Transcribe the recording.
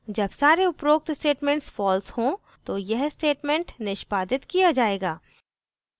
जब सारे उपरोक्त statements false हों तो यह statements निष्पादित किया जायेगा